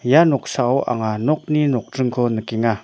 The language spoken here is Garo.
ia noksao anga nokni nokdringko nikenga.